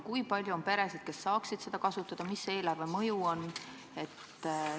Kui palju on peresid, kes saaksid seda kasutada, mis see eelarve mõju on?